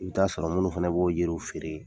U bɛ t'a sɔrɔ minnu fɛnɛ b'o yeiriw feere